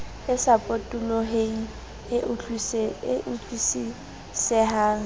e sa potoloheng e utlwisisehang